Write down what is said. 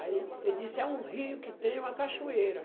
Aí, ele disse, é um rio que tem uma cachoeira.